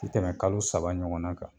Ti tɛmɛ kalo saba ɲɔgɔn na kan